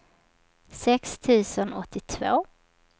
sex tusen åttiotvå